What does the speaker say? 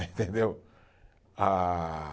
Entendeu? Ah